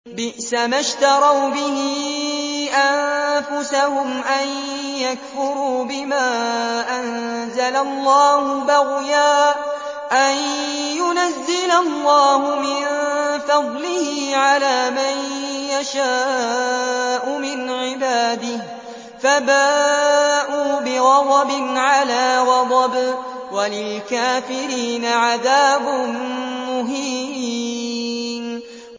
بِئْسَمَا اشْتَرَوْا بِهِ أَنفُسَهُمْ أَن يَكْفُرُوا بِمَا أَنزَلَ اللَّهُ بَغْيًا أَن يُنَزِّلَ اللَّهُ مِن فَضْلِهِ عَلَىٰ مَن يَشَاءُ مِنْ عِبَادِهِ ۖ فَبَاءُوا بِغَضَبٍ عَلَىٰ غَضَبٍ ۚ وَلِلْكَافِرِينَ عَذَابٌ مُّهِينٌ